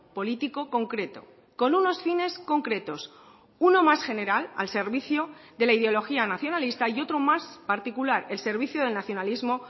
político concreto con unos fines concretos uno más general al servicio de la ideología nacionalista y otro más particular el servicio del nacionalismo